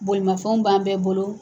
Bolimafɛnw b'an bɛɛ bolo.